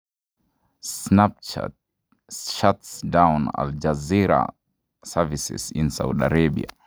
Snapchat shuts down Al Jazeera services in Saudi Arabia.